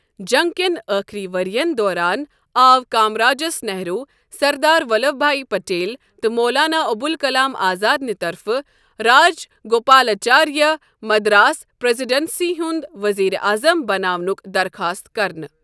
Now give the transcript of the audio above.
جنگ کٮ۪ن ٲخٕری ؤرِ یَن دوران آو کامراجس نہرو، سردار ولبھ بھاٲی پٹیل، تہٕ مولانا ابوالکلام آزادَنہِ طرفہٕ راجگوپالاچاریہ مدراس پریذیڈنسی ہُنٛد وزیرِ اعظم بناونک درخاست كرنہٕ۔